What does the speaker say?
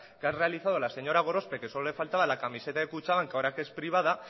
que ha realizado la señor gorospe que solo la faltaba la camiseta de kutxabank que ahora que es privada